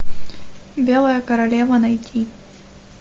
белая королева найти